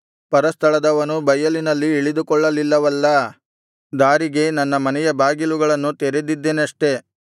ಪರಸ್ಥಳದವನು ಬಯಲಿನಲ್ಲಿ ಇಳಿದುಕೊಳ್ಳಲಿಲ್ಲವಲ್ಲಾ ದಾರಿಗೆ ನನ್ನ ಮನೆಯ ಬಾಗಿಲುಗಳನ್ನು ತೆರೆದಿದ್ದೆನಷ್ಟೆ